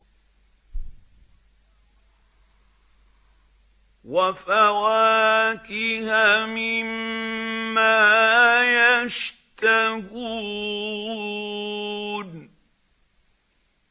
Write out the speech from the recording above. وَفَوَاكِهَ مِمَّا يَشْتَهُونَ